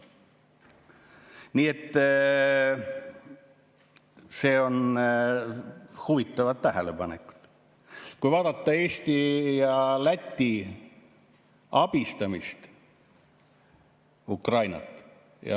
Need on huvitavad tähelepanekud, kui vaadata, kuidas Eesti ja Läti abistavad Ukrainat.